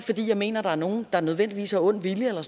fordi jeg mener at der er nogen der nødvendigvis har ond vilje eller